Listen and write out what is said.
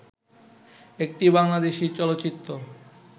একটি বাংলাদেশী চলচ্চিত্র